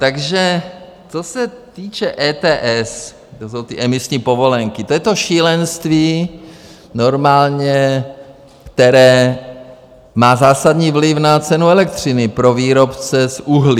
Takže co se týče ETS, to jsou ty emisní povolenky, to je to šílenství normálně, které má zásadní vliv na cenu elektřiny pro výrobce z uhlí.